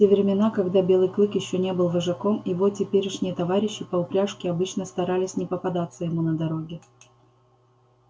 в те времена когда белый клык ещё не был вожаком его теперешние товарищи по упряжке обычно старались не попадаться ему на дороге